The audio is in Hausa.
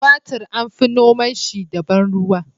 Tumatir an fi noma shi da ban ruwa